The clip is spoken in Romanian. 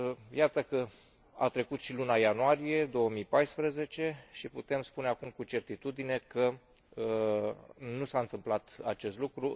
Iată că a trecut și luna ianuarie 2014 și putem spune acum cu certitudine că nu s a întâmplat acest lucru.